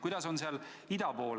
Kuidas on seal ida pool?